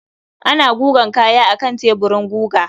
Ana gugan kaya akan teburin guga.